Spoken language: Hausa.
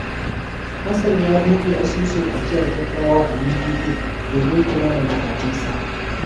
Hassan ya bude asusun ajiyar gaggawa a UBA domin kula da buƙatunsa.